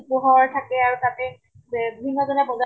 পোহৰ থাকে আৰু তাতে বিভিন্ন জনে বজাৰ